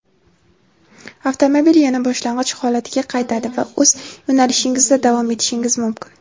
avtomobil yana boshlang‘ich holatiga qaytadi va o‘z yo‘nalishingizda davom etishingiz mumkin.